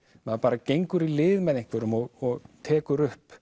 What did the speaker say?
maður bara gengur í lið með einhverjum og tekur upp